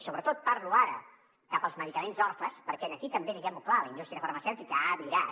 i sobretot parlo ara cap als medicaments orfes perquè aquí també diguem ho clar la indústria farmacèutica ha virat